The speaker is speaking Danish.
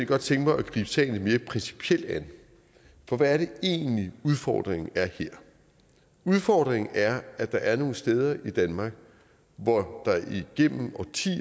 godt tænke mig at gribe sagen lidt mere principielt an for hvad er det egentlig udfordringen er her udfordringen er at der er nogle steder i danmark hvor